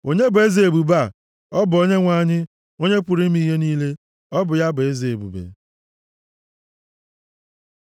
Onye bụ eze ebube a? Ọ bụ Onyenwe anyị, Onye pụrụ ime ihe niile, ọ bụ ya bụ Eze ebube! Sela